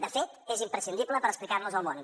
de fet és imprescindible per explicarnos al món